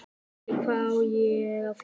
Lillý: Hvað á að gera það?